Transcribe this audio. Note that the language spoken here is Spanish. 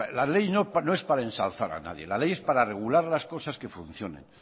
la ley no es para ensalzar a nadie la ley es para regular las cosas que funcionen